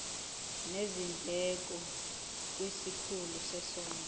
nezindleko kwisikhulu sezondlo